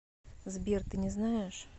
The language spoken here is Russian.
сбер ты не знаешь